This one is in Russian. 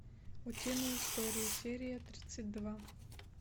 утиные истории серия тридцать два